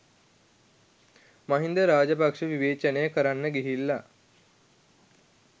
මහින්ද රාජපක්ෂ විවේචනය කරන්න ගිහිල්ල